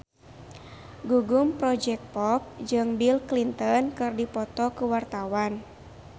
Gugum Project Pop jeung Bill Clinton keur dipoto ku wartawan